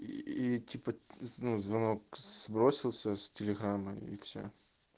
ии типа ну звонок сбросился с телеграма и все